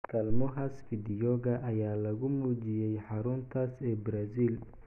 Kaalmohaas fiidiyooga ayaa lagu muujiyay xaruntaas ee Brazil.